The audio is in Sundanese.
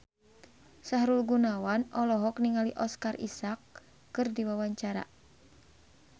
Sahrul Gunawan olohok ningali Oscar Isaac keur diwawancara